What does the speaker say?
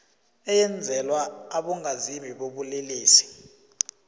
eyenzelwa abongazimbi bobulelesi